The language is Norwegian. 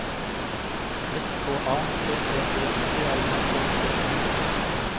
S K A T T E P L I K T I G